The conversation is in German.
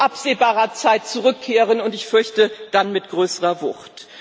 absehbarer Zeit zurückkehren, und ich fürchte, dann mit größerer Wucht.